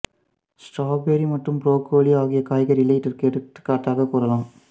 strawberry மற்றும் broccoli ஆகிய காய்கறிகளை இதற்கு எடுத்துக்காட்டாகக் கூறலாம்